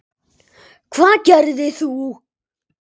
Hvað gerðir þú?